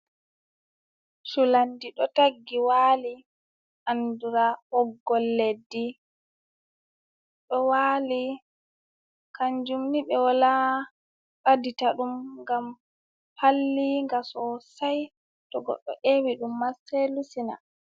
Culandi ɗo taggi waali, andiraa ɓoggol leddi, ɗo waali. Kanjum ni ɓe walaa ɓadita ɗum gam hallii ga sosai, to goɗɗo eewi ɗum ma sai lusina.